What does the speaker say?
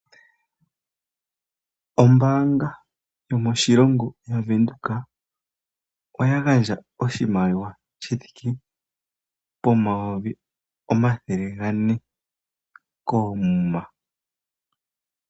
Ombaanga yomoshilongo yavenduka oya gandja oshimaliwa shithike poodola omayovi omathele gane koomuma.